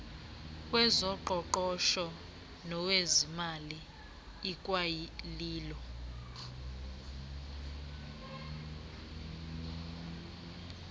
wezoqoqosho nowezezimali ikwalilo